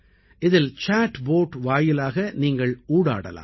இதில் chat bot வாயிலாக நீங்கள் ஊடாடலாம்